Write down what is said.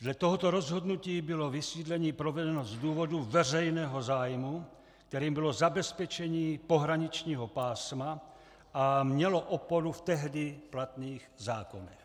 Dle tohoto rozhodnutí bylo vysídlení provedeno z důvodu veřejného zájmu, kterým bylo zabezpečení pohraničního pásma, a mělo oporu v tehdy platných zákonech.